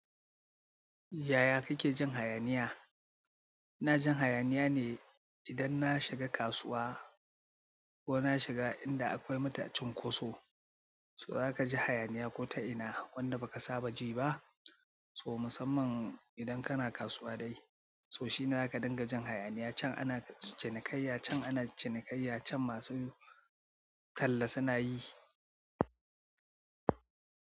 Yaya kake jin hayaniya? Ina jin hayaniya ne idan na shiga kasuwa ko na shiga inda akwai mata-- cin koso. To zaka ji hayaniya ko ta ina wanda ba ka saba ji ba. To musamman idan kana kasuwa dai. To shine zaka dinga jin hayaniya can ana cinikayya, can ana cinikayya, can masu talla suna yi.